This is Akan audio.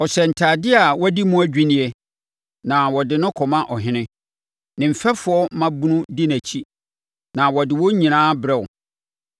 Ɔhyɛ ntadeɛ a wɔadi mu adwinneɛ na wɔde no kɔma ɔhene; ne mfɛfoɔ mmaabunu di nʼakyi na wɔde wɔn nyinaa brɛ wo.